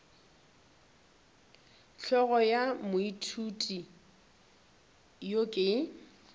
hlogo ya moithuti yo ke